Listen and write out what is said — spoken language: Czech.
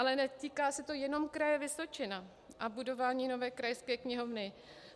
Ale netýká se to jenom Kraje Vysočina a budování nové krajské knihovny.